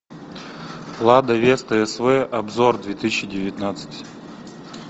лада веста св обзор две тысячи девятнадцать